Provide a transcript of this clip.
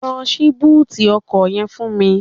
Lọ ṣí búùtì ọkọ̀ yẹn fún mi